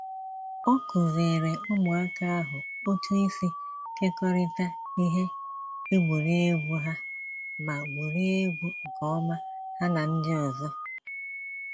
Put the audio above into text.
Ọ kuziere ụmụaka ahụ otu isi kekọrịta ihe egwuregwu ha ma gwuriegwu nke ọma ha na ndị ọzọ